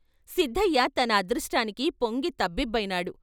సిద్ధయ్య తన అదృష్టానికి పొంగి తబ్బిబ్బైనాడు.